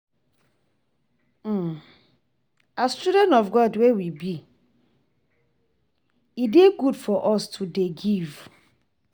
As children of God wey we be e dey good for us to dey give